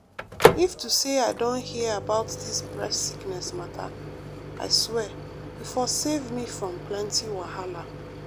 if to say i don hear about dis breast sickness mata i swear e for save me from plenty wahala.